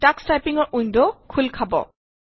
Tux চাইপিঙৰ window খোল খাব